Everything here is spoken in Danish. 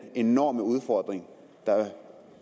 enorme udfordring